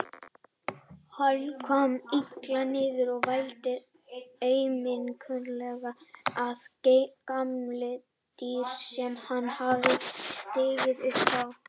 Hann kom illa niður og vældi aumkunarlega að kameldýri sem hann hafði stigið upp á.